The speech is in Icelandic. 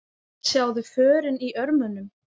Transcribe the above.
Sjáðu förin í örmunum.